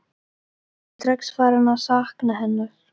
Ég er strax farinn að sakna hennar.